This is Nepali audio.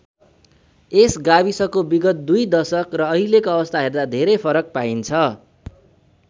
यस गाविसको विगत दुई दशक र अहिलेको अवस्था हर्दा धेरै फरक पाइन्छ।